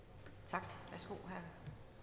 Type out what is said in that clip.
op